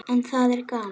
En það er gaman.